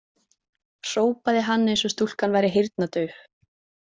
Hrópaði hann eins og stúlkan væri heyrnardauf.